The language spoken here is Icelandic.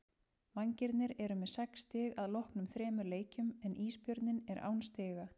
Vængirnir eru með sex stig að loknum þremur leikjum en Ísbjörninn er án stiga.